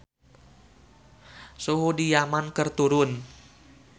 Suhu di Yaman keur turun